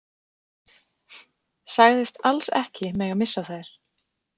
Sagðist alls ekki mega missa þær.